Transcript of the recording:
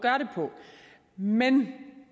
men